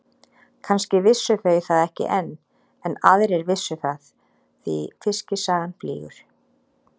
Kannski vissu þau það ekki enn en aðrir vissu það því fiskisagan flýgur.